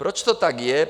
Proč to tak je?